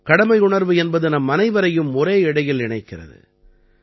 கடமையுணர்வு என்பது நம்மனைவரையும் ஒரே இழையில் இணைக்கிறது